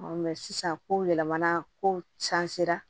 sisan ko yɛlɛmana kow can sera